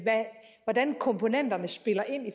hvordan komponenterne spiller ind i